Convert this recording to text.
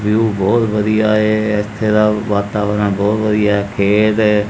View ਬੋਹੁਤ ਵਧੀਆ ਹੈ ਏੱਥੇ ਦਾ ਵਾਤਾਵਰਣ ਬੋਹੁਤ ਵਧੀਆ ਹੈ ਖੇਤ ਹੈ।